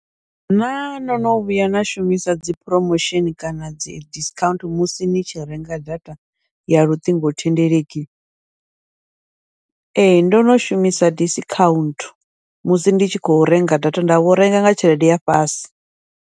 Naa no no vhuya na shumisa dzi promotion kana dzi discount musi ni tshi renga data ya luṱingothendeleki, ee ndono shumisa discount musi ndi tshi khou renga data nda vho renga nga tshelede ya fhasi.